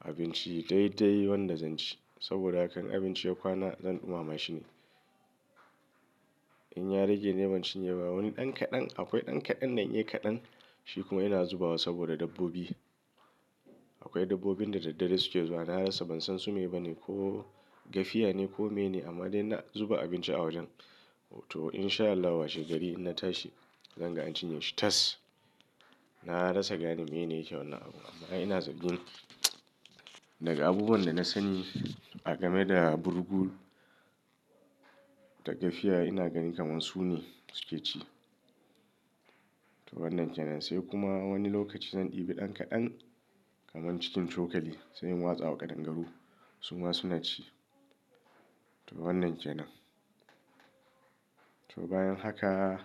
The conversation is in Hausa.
abinci daidai wanda zan ci saboda a hakan inn abinci ya kwana zan ɗumama shi ne. In ya rage ni ban cinye ba wani ɗan kaɗan akwai ɗan kaɗan nan ya kaɗan shi kuma ina zubawa saboda dabbobi. Akwai dabbobin da dare suke zuwa na rasa ban san su me ba ne ko gafiya ne ko mene amma dai na zuba abinci a wajen. To in sha Allah wa shegari in na tashi zan ga an cinye shi tas. Na rasa gani mene yake wannan abu amma ina zargi daga abubuwan da na sani a game da burgu da gafiya ina gani kamar su ne suke ci. To wannan ke nan. Sai kuma wani lokaci zan ɗibi ɗan kaɗan kamar cikin cokali sai in watsa wa ƙadangaru su ma su na ci. To wannan ke nan. To bayan haka,